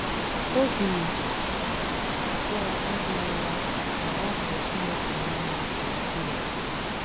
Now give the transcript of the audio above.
Obi abụọ adịghị ya na ọ hụrụ Chineke n’anya nke ukwuu.